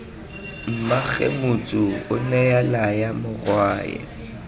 mmaagwe motsu onea laya morwae